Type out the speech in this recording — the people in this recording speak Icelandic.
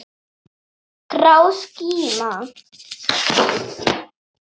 Grá skíma.